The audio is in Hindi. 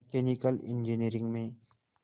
मैकेनिकल इंजीनियरिंग में